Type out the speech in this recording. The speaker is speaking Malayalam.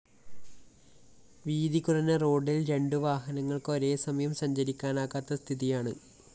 വീതികുറഞ്ഞ റോഡില്‍ രണ്ടുവാഹനങ്ങള്‍ക്ക് ഒരേസമയം സഞ്ചരിക്കാനാകാത്ത സ്ഥിതിയാണ്